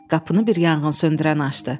Qapını bir yanğınsöndürən açdı.